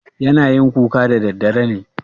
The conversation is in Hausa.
yana yin kuka daddadare ne?